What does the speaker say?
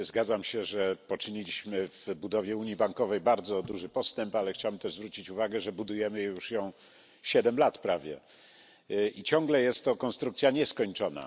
Zgadzam się, że poczyniliśmy w budowie unii bankowej bardzo duży postęp, ale chciałbym też zwrócić uwagę, że budujemy ją już prawie 7 lat i ciągle jest to konstrukcja nieskończona.